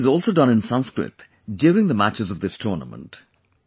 Commentary is also done in Sanskrit during the matches of this tournament